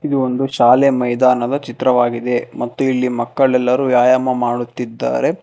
ಇದು ಒಂದು ಶಾಲೆ ಮೈದಾನದ ಚಿತ್ರವಾಗಿದೆ ಮತ್ತು ಇಲ್ಲಿ ಮಕ್ಕಳೆಲ್ಲರೂ ವ್ಯಾಯಾಮ ಮಾಡುತ್ತಿದ್ದಾರೆ.